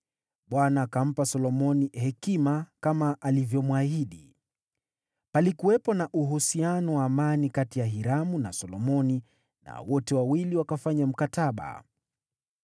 Bwana akampa Solomoni hekima, kama alivyomwahidi. Palikuwepo na uhusiano wa amani kati ya Hiramu na Solomoni, na wote wawili wakafanya mkataba.